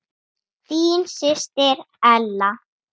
Þín systir Ella.